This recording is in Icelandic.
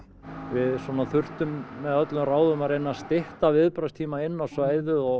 við þurftum með öllum ráðum að reyna að stytta viðbragðstíma inn á svæðið og